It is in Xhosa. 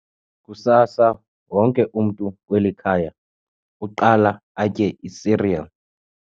Kusasa wonke umntu kweli khaya uqala atye isiriyeli.